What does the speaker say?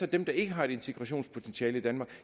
dem der ikke har et integrationspotentiale i danmark